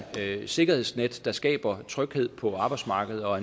sikkerhedsnet der skaber tryghed på arbejdsmarkedet og